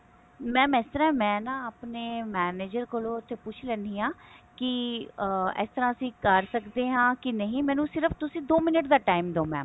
mam ਇਸ ਤਰ੍ਹਾਂ ਮੈਂ ਨਾ ਆਪਣੇ manager ਕੋਲੋਂ ਇੱਥੇ ਪੁੱਛ ਲੈਣੀ ਹਾਂ ਇਸ ਤਰ੍ਹਾਂ ਅਸੀਂ ਕਰ ਸਕਦੇ ਹਾਂ ਕੀ ਨਹੀ ਮੈਨੂੰ ਸਿਰਫ ਤੁਸੀਂ ਦੋ minute ਦਾ time ਦਿਓ mam